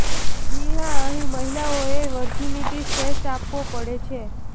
જી હા અહી મહિલાઓએ વર્જીનિટી ટેસ્ટ આપવો પડે છે